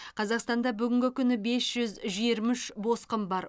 қазақстанда бүгінгі күні бес жүз жиырма үш босқын бар